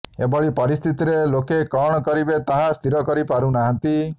ଏଭଳି ପରିସ୍ଥିତିରେ ଲୋକେ କଣ କରିବେ ତାହା ସ୍ଥିର କରି ପାରୁ ନାହାଁନ୍ତି